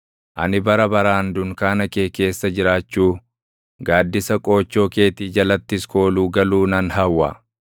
Ani bara baraan dunkaana kee keessa jiraachuu, gaaddisa qoochoo keetii jalattis kooluu galuu nan hawwa.